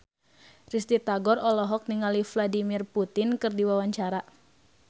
Risty Tagor olohok ningali Vladimir Putin keur diwawancara